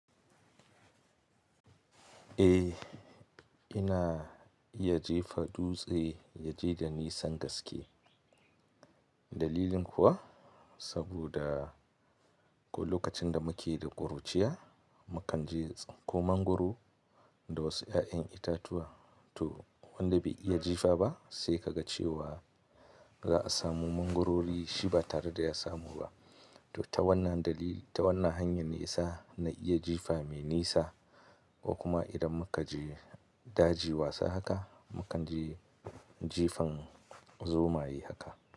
Eh, ina iya jefa dutse ya je da nisan gaske. Dalilin kuwa saboda lokacin da muke da kuruciya, mukan je tsunko mangwaro da wasu 'ya'yan itatuwa. To wanda bai iya jifa ba sai ka ga cewa za a samu mangwaro shi ba tare da ya samu ba. To ta wannan dalili, ta wannan hanya nisa na iya jifa mai nisa ko kuma idan muka je daji wasa haka, mukan je jifan zomaye haka.